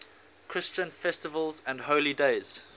christian festivals and holy days